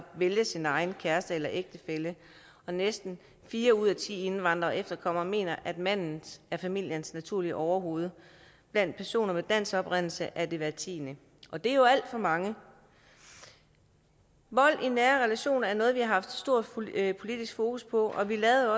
vælge sin egen kæreste eller ægtefælle og næsten fire ud af ti indvandrere og efterkommere mener at manden er familiens naturlige overhoved blandt personer med dansk oprindelse er det hver tiende og det er jo alt for mange vold i nære relationer er noget vi har haft stort politisk fokus på og vi lavede